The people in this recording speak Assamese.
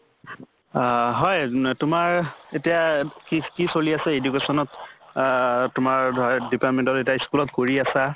হয় ন তোমাৰ এতিয়া কি কি চলি আছে education ত আহ তোমাৰ ধৰা department ত এতিয়া school ত কৰি আছা